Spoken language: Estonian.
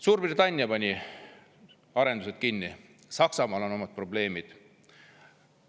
Suurbritannia pani arendused kinni, Saksamaal on omad probleemid.